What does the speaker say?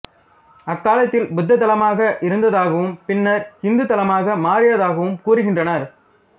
அக்காலத்தில் புத்தத் தலமாக இருந்ததாகவும் பின்னர் இந்து தலமாக மாறியதாகவும் கூறுகின்றனர்